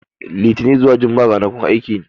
Litini zuwa Jumma'a ranakun aiki ne.